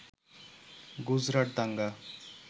গুজরাট দাঙ্গা